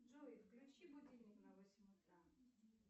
джой включи будильник на восемь утра